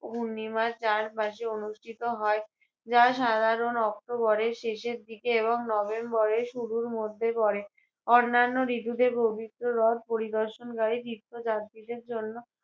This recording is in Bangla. পূর্ণিমার চারপাশে অনুষ্ঠিত হয় যা সাধারণ অক্টোবরের শেষের দিকে এবং নভেম্বরের শুরুর মধ্যে পড়ে। অন্যান্য ঋতুতে পবিত্র রথ পরিদর্শনকারী তীর্থযাত্রীদের জন্য